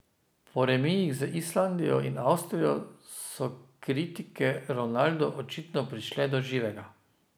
Po remijih z Islandijo in Avstrijo so kritike Ronaldu očitno prišle do živega.